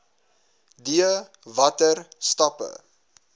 d watter stappe